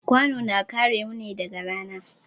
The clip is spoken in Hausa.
Kwano na kare mu ne daga rana.